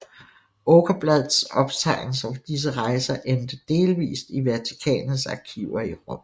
Åkerblads optegnelser fra disse rejser endte delvist i Vatikanets arkiver i Rom